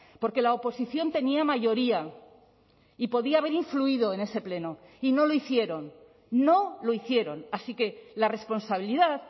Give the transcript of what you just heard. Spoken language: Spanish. porque la oposición tenía mayoría y podía haber influido en ese pleno y no lo hicieron no lo hicieron así que la responsabilidad